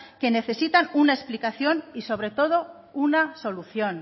que necesitan una explicación y sobre todo una solución